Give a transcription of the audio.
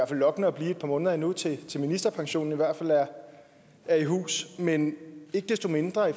tillokkende at blive et par måneder endnu til ministerpensionen er i hus men ikke desto mindre i